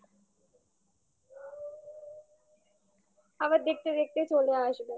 আবার দেখতে দেখতে চলে আসবে